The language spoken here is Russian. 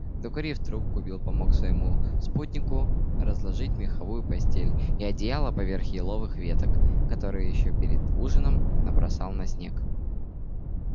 докурив трубку билл помог своему спутнику разложить меховую постель и одеяло поверх еловых веток которые ещё перед ужином набросал на снег